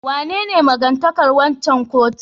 Wanene maga-takardar waccan kotun?